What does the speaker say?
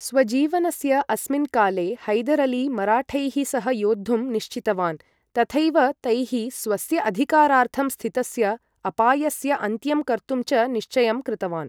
स्वजीवनस्य अस्मिन् काले, हैदर् अली मराठैः सह योद्धुं निश्चितवान्, तथैव तैः स्वस्य अधिकारार्थं स्थितस्य अपायस्य अन्त्यं कर्तुं च निश्चयं कृतवान्।